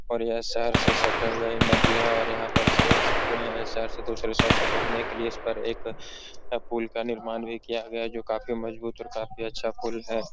और यह शहर से सटे हुए नदी है और यहाँ पर एक शहर से दूसरे शहर को जोड़ने लिए इस पर एक पुल का निर्माण भी किया गया है जोकि काफी मजबूत और काफ़ी अच्छा पुल है।